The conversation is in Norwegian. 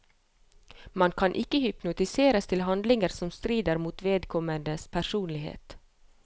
Man kan ikke hypnotiseres til handlinger som strider mot vedkommendes personlighet.